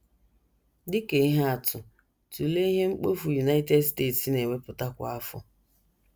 Dị ka ihe atụ, tụlee ihe mkpofu United States na - ewepụta kwa afọ.